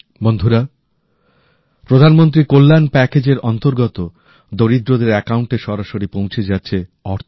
বন্ধুরা প্রধানমন্ত্রীর কল্যাণ প্যাকেজএর অন্তর্গত দরিদ্রদের অ্যাকাউন্টে সরাসরি পৌঁছে যাচ্ছে অর্থ